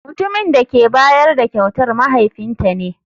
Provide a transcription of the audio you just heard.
Mutumin da ke bayar da kyautar mahaifinta ne.